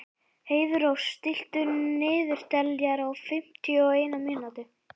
Heiðrós, stilltu niðurteljara á fimmtíu og eina mínútur.